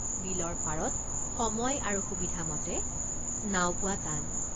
বিলৰ পাৰত সময় আৰু সুবিধামতে নাও পোৱা টান।